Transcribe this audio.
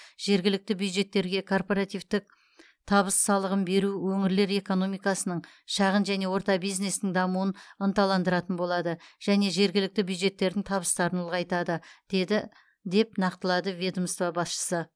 жергілікті бюджеттерге корпоративтік табыс салығын беру өңірлер экономикасының шағын және орта бизнестің дамуын ынталандыратын болады және жергілікті бюджеттердің табыстарын ұлғайтады деді деп нақтылады ведомство басшысы